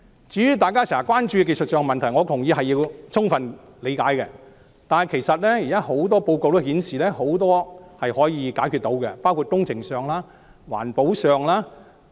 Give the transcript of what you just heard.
至於大家經常關注的技術問題，我同意要充分理解，但現時很多報告也顯示，很多工程上及環保上的問題是可以解決的。